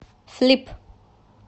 флип